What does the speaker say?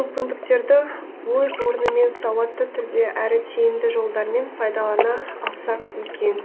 мүмкіндіктерді өз орнымен сауатты түрде әрі тиімді жолдармен пайдалана алсақ екен